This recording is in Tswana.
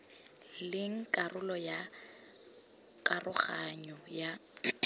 leng karolo ya karoganyo ya